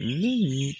Ni